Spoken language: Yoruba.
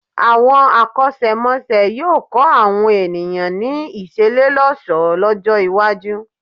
Àwọn akọ́ṣẹ́mọṣẹ́ yóò kọ́ àwọn èìyàn ní ìṣelélọ́ṣọ̀ọ́ lọ́jọ́-iwájú.